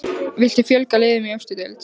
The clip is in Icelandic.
Viltu fjölga liðum í efstu deild?